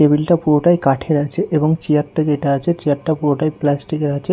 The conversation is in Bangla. টেবিল -টা পুরোটাই কাঠের আছে এবং চিয়ার -টা যেটা আছে চিয়ার -টা পুরোটাই প্লাস্টিক -এর আছে।